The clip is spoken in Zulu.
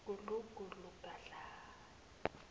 gudlu gudlu gadla